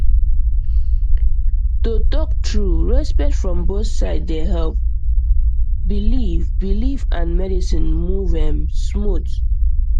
to talk true respect from both sides dey help um believe um believe and medicine move erm smooth